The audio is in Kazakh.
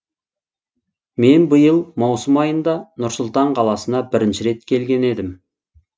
мен биыл маусым айында нұр сұлтан қаласына бірінші рет келген едім